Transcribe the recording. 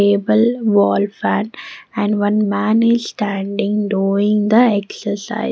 Table wall fan and one man is standing doing the exercise.